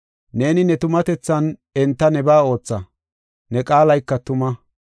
Neeni ne tumatethan enta nebaa ootha; ne qaalayka tuma.